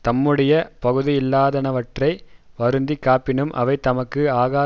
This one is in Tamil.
தம்முடைய பகுதியல்லாதனவற்றை வருந்தி காப்பினும் அவை தமக்கு ஆகா